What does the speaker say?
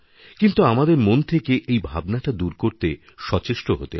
কিন্তু আমাদের মন থেকে এই ভাবনাটাদূর করতে সচেষ্ট হতে হবে